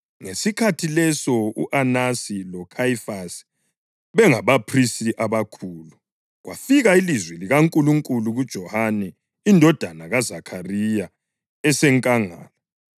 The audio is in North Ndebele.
ngesikhathi leso u-Anasi loKhayifasi bengabaphristi abakhulu, kwafika ilizwi likaNkulunkulu kuJohane indodana kaZakhariya esenkangala.